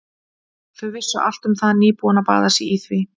Þau vissu allt um það, nýbúin að baða sig í því.